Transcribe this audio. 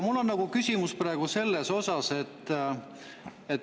Mul on praegu küsimus selle kohta.